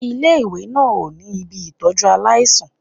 Ilé-ìwé náà ò ní ibi ìtọ́jú aláìsàn